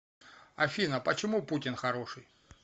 афина почему путин хороший